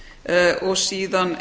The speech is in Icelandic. er og síðan